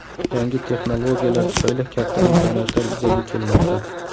Yangi texnologiyalar tufayli katta imkoniyatlar yuzaga kelmoqda.